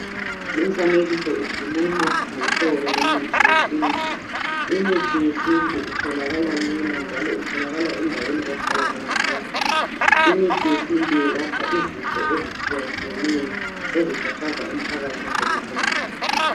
Lumfanekiso ukhuluma ngohlobo lomuthi wesintu. Imithi yesintu itholakala lula njalo endaweni ezihlala abantu. Limithi yelapha izifo ezikhathaza abantu nsukuzonke.